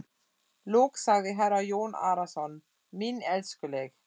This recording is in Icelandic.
Loks sagði herra Jón Arason: Mín elskuleg.